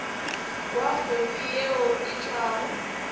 kwa kgodu yeo e tšwago